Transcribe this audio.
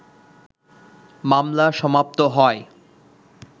মামলা সমাপ্ত হয়